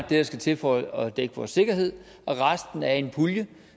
der skal til for at dække vores sikkerhed og resten er i en pulje